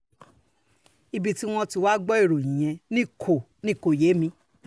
ibi tí wọ́n wàá ti gbọ́ ìròyìn yẹn ni kò ni kò yé mi